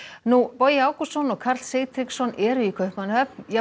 Bogi Ágústsson og Karl Sigtryggsson eru í Kaupmannahöfn